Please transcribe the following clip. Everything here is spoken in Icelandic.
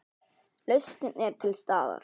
Lausnin er til staðar.